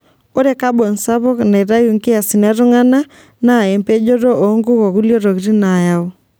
Ore kabon sapuk naitayu nkiasin e tung'ani naa empejoto oonkuk okulie tokitin nayau.